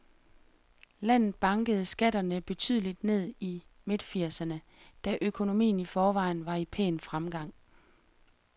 Landet bankede skatterne betydeligt ned i midtfirserne, da økonomien i forvejen var i pæn fremgang.